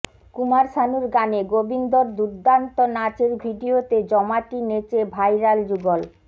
কুমার শানুর গানে গোবিন্দর দুর্দান্ত নাচের ভিডিওতে জমাটি নেচে ভাইরাল যুগল